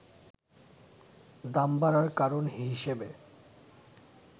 দাম বাড়ার কারণ হিসেবে